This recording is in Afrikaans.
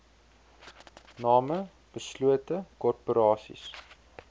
name beslote korporasies